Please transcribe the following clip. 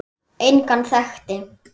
Engan þekkti